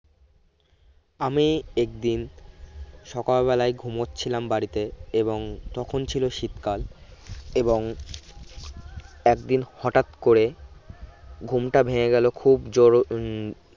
আমি একদিন সকাল বেলায় ঘুমোচ্ছিলাম বাড়িতে এবং তখন ছিলো শীত কাল এবং হঠাৎ করে ঘুমটা ভেঙ্গে গেলো খুব জোরো উম